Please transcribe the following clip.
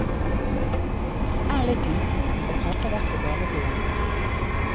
Er litt liten, og passer derfor bare til jenter.